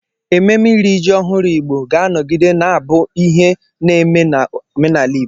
Ememe iri ji ọhụrụ Igbo ga-anọgide na-abụ ihe na-eme n'omenala Igbo.